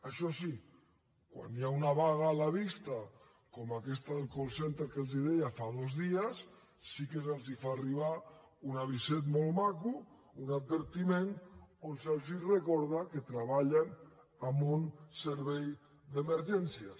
això sí quan hi ha una vaga a la vista com aquesta del call centre que els deia fa dos dies sí que se’ls fa arribar una aviset molt maco un advertiment on se’ls recorda que treballen en un servei d’emergències